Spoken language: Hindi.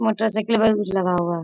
मोटरसाइकिलवा के कुछ लगा हुआ है।